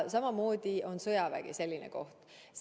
Ka sõjavägi on selline koht.